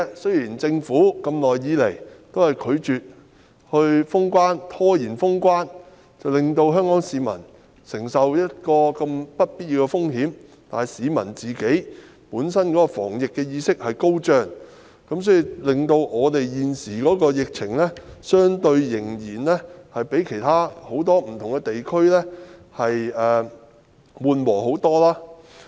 雖然政府一直拒絕及拖延封關，令香港市民承受不必要的風險，但市民自己的防疫意識很高，所以，現時香港的疫情相對很多其他地區較為緩和。